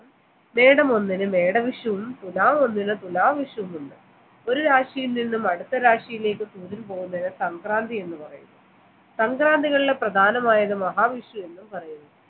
മേടം ഒന്നിന് മേടവിഷവും തുലാം ഒന്നിന് തുലാം വിഷവുമുണ്ട് ഒരു രാശിയിൽ നിന്ന് നിന്നും അടുത്ത രാശിയിലേക്ക് പോകുന്നതിന് സംക്രാന്തി എന്ന് പറയുന്നു സംക്രാന്തികളിൽ പ്രധാനമായത് മഹാവിഷ് എന്നും പറയുന്നു